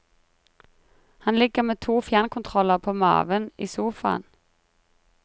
Han ligger med to fjernkontroller på maven i sofaen.